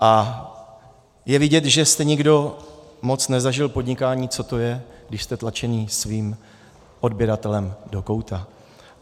A je vidět, že jste nikdo moc nezažil podnikání, co to je, když jste tlačeni svým odběratelem do kouta.